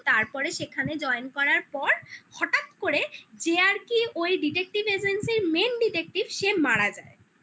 তো তারপরে সেখানে join করার পর হঠাৎ করে যে আর কি ওই detective agency -র main detective সে মারা যায়